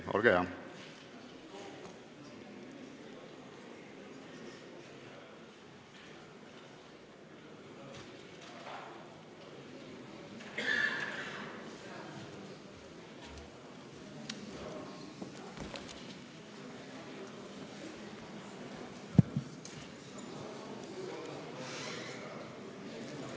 Olge hea!